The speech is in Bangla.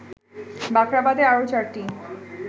বাখরাবাদে আরো ৪টি